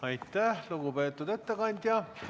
Aitäh, lugupeetud ettekandja!